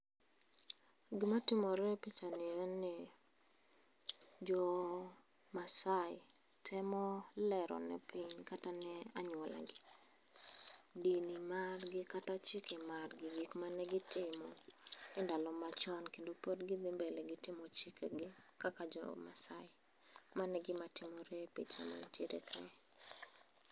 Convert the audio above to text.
Gima timore e pichani en ni. Jo maasai, temo lero ne piny kata ne anyuolagi, dini margi kata chike margi, gik manegitimo e ndalo machon kendo pod gidhi mbele gi timo chikegi kaka jo Maasai. Mano e gima timore e picha mantiere kae.